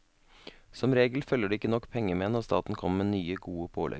Som regel følger det ikke nok penger med når staten kommer med nye, gode pålegg.